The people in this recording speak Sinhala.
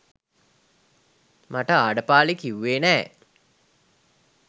මට ආඩපාලි කියුවේ නැ.